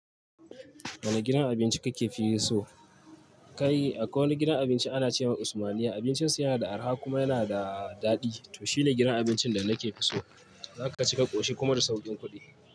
Wane gidan abinci kake fi so? Kai, akwai wani gidan abinci ana cema Usmaniya abincin su yana da arha kuma yana da daɗi. To, shine gidan abincin da nake fi so. Zaka cika ƙoshi kuma da sauƙin kuɗi.